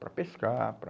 Para pescar, para...